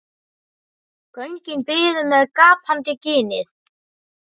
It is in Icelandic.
Göngin biðu með gapandi ginið.